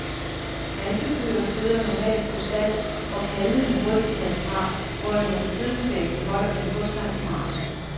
Malkekøer føder normalt på stald, hvor kalvene hurtigt tages fra, hvorimod kødkvæg beholder dem hos sig i marken.